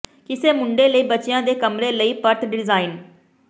ਕਿਸੇ ਮੁੰਡੇ ਲਈ ਬੱਚਿਆਂ ਦੇ ਕਮਰੇ ਲਈ ਪਰਤ ਡਿਜ਼ਾਈਨ